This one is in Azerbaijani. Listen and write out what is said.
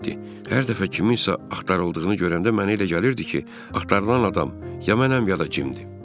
Hər dəfə kiminsə axtarıldığını görəndə mənə elə gəlirdi ki, axtarılan adam ya mənəm, ya da Cimdir.